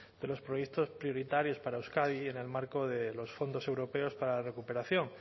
de los proyectos prioritarios para euskadi en el marco de los fondos europeos para la recuperación